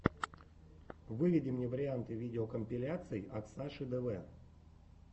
выведи мне варианты видеокомпиляций оксаши дв